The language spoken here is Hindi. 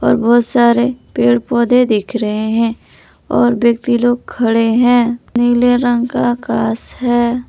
और बहुत सारे पेड़ पौधे दिख रहे हैं और व्यक्ति लोग खड़े हैं नीले रंग का आकाश है।